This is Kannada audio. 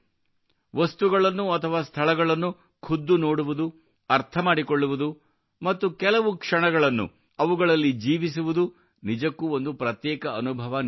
ವಸ್ತುಗಳನ್ನು ಅಥವಾ ಸ್ಥಳಗಳನ್ನು ಖುದ್ದು ನೋಡುವುದು ಅರ್ಥ ಮಾಡಿಕೊಳ್ಳುವುದು ಮತ್ತು ಕೆಲವು ಕ್ಷಣಗಳನ್ನು ಅವುಗಳಲ್ಲಿ ಜೀವಿಸುವುದು ನಿಜಕ್ಕೂ ಒಂದು ಪ್ರತ್ಯೇಕ ಅನುಭವ ನೀಡುತ್ತದೆ